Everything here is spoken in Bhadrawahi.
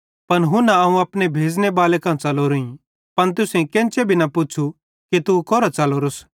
पन हुन्ना अवं अपने भेज़ने बाले कां च़लोरोईं पन तुसेईं केन्चे भी न पुच़्छ़ू कि तू कोरां च़लोरोस